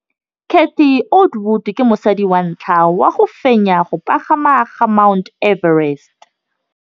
Cathy Odowd ke mosadi wa ntlha wa go fenya go pagama ga Mt Everest.